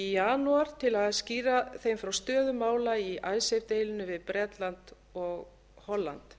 í janúar til að skýra þeim frá stöðu mála í icesave deilunni við bretland og holland